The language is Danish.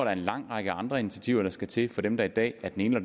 er en lang række andre initiativer der skal til for dem der i dag af den ene